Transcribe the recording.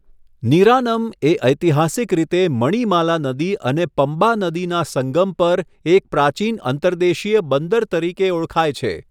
નિરાનમ એ ઐતિહાસિક રીતે મણિમાલા નદી અને પમ્બા નદીના સંગમ પર એક પ્રાચીન અંતર્દેશીય બંદર તરીકે ઓળખાય છે.